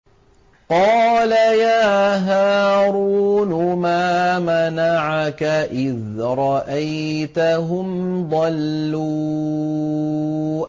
قَالَ يَا هَارُونُ مَا مَنَعَكَ إِذْ رَأَيْتَهُمْ ضَلُّوا